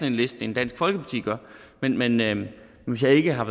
en liste end dansk folkeparti gør men men hvis jeg ikke har